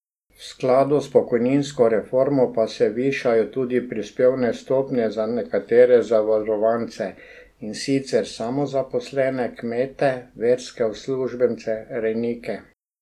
V skladu z pokojninsko reformo pa se višajo tudi prispevne stopnje za nekatere zavarovance, in sicer samozaposlene, kmete, verske uslužbence, rejnike ...